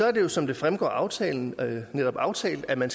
er det jo som det fremgår af aftalen netop aftalt at man